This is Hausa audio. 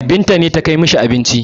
Binta ce ta kai ma shi abincin.